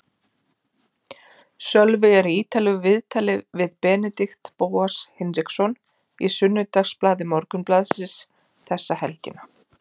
Sölvi er í ítarlegu viðtali við Benedikt Bóas Hinriksson í Sunnudagsblaði Morgunblaðsins þessa helgina.